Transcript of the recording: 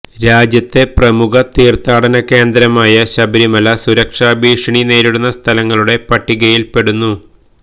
രാജ്യത്തെ പ്രമുഖ തീര്ത്ഥാടന കേന്ദ്രമായ ശബരിമല സുരക്ഷാഭീഷണി നേരിടുന്ന സ്ഥലങ്ങളുടെ പട്ടികയില്പ്പെടുന്നു